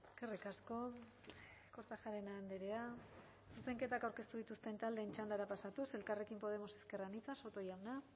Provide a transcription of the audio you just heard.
eskerrik asko kortajarena andrea zuzenketak aurkeztu dituzten taldeen txandara pasatuz elkarrekin podemos ezker anitza soto jauna